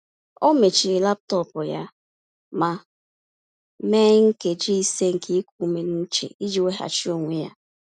Ọ mechiri laptọọpụ ya ma mee nkeji ise nke iku ume n’uche iji weghachi onwe ya.